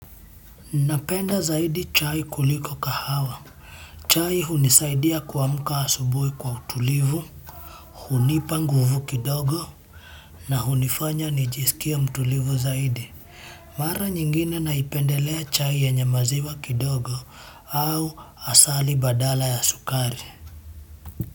Napenda zaidi chai kuliko kahawa. Chai hunisaidia kuamka asubuhi kwa utulivu, hunipa nguvu kidogo na hunifanya nijisikie mtulivu zaidi. Mara nyingine naipendelea chai yenye maziwa kidogo au asali badala ya sukari.